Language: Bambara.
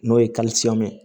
N'o ye ye